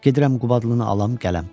Gedirəm Qubadlını alam qələm.